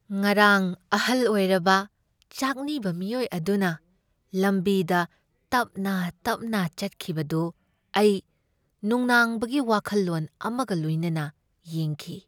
ꯉꯔꯥꯡ ꯑꯍꯜ ꯑꯣꯏꯔꯕ ꯆꯥꯛꯅꯤꯕ ꯃꯤꯑꯣꯏ ꯑꯗꯨꯅ ꯂꯝꯕꯤꯗ ꯇꯞꯅ ꯇꯞꯅ ꯆꯠꯈꯤꯕꯗꯨ ꯑꯩ ꯅꯨꯡꯅꯥꯡꯕꯒꯤ ꯋꯥꯈꯜꯂꯣꯟ ꯑꯃꯒ ꯂꯣꯏꯅꯅ ꯌꯦꯡꯈꯤ꯫